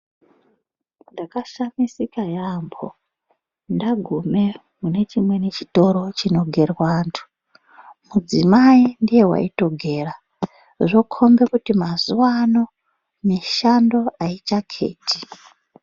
Ndakashamisika yaambo ndagume mune chimweni chitoro chinogerwa antu mudzimai ndiye waitogera zvokombe kuti madzimai mazuwano mishando aichaketi.